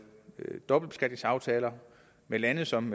dobbeltbeskatningsaftaler med lande som